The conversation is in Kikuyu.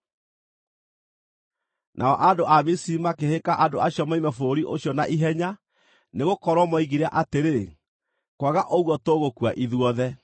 Nao andũ a Misiri makĩhĩka andũ acio moime bũrũri ũcio na ihenya, nĩgũkorwo moigire atĩrĩ, “Kwaga ũguo, tũgũkua ithuothe!”